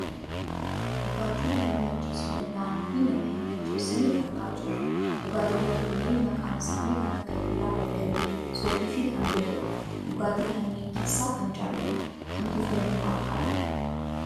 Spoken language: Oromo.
Dhugaatii nama macheessuu danda'anii fi nama hin macheessine argaa jirra. Dhugaatiiwwan kunneen maqaan isaanii kan akka biiraa beddellee, soofii fi kan biroodha. Dhugaatii kanneen keessaa kam jaalatta? Kamtu fayyummaaf gaariidha?